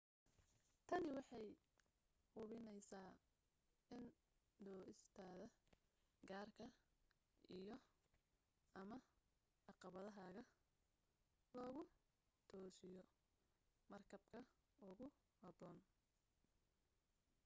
tani waxay hubinaysaa in dooistaada gaarka iyo/ama caqabadahaaga lagu toosiyo markabka ugu habboon